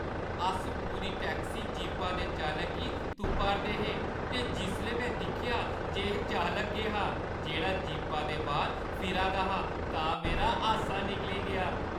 अस पूरी टैक्सी जीपा दे चालक गी तुप्पा 'रदे हे ते जिसलै में दिक्खेआ जे एह् चालक गै हा जेह्ड़ा जीपा दे बाह्‌र फिरा दा हा तां मेरा हासा निकली गेआ।